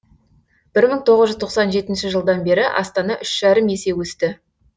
бір мың тоғыз жүз тоқсан жетінші жылдан бері астана үш жарым есе өсті